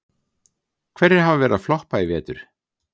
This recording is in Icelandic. Hverjir hafa verið að floppa í vetur?